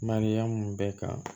Mariyamu bɛ kan